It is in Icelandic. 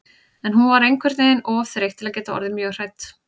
En hún var einhvern veginn of þreytt til að geta orðið mjög hrædd.